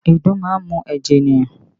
Ìdun máa ń mu ẹ̀jẹ̀ ènìyàn